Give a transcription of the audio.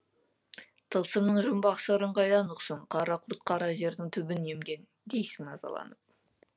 тылсымның жұмбақ сырын қайдан ұқсын қара құрт қара жердің түбін емген дейсің назаланып